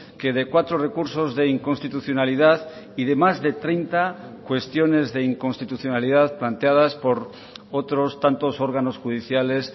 que de cuatro recursos de inconstitucionalidad y de más de treinta cuestiones de inconstitucionalidad planteadas por otros tantos órganos judiciales